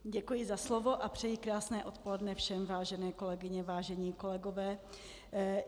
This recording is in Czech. Děkuji za slovo a přeji krásné odpoledne všem, vážené kolegyně, vážení kolegové.